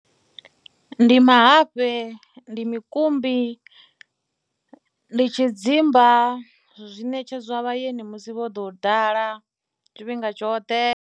Ndi mahafhe, ndi mukumbi, ndi tshidzimba zwi ṋetshedzwa vhaeni musi vho ḓo ḓala tshifhinga tshoṱhe.